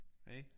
Ik?